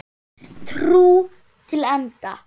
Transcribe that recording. Trú til enda.